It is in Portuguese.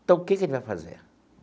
Então, o que que a gente vai fazer?